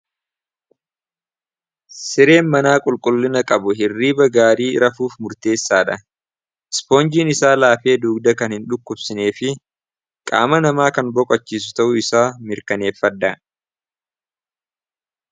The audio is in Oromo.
Sireen manaa qulqullina qabu hirriiba gaarii rafuuf murteessaadha. Ispoonjiin isaa laafee duugda kan hin dhukkubsinee fi qaama namaa kan boqachiisu ta'uu isaa mirkaneeffadhaa.